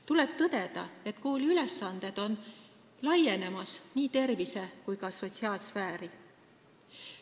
Tuleb tõdeda, et kooli ülesanded on laienemas nii tervise- kui ka sotsiaalsfääri.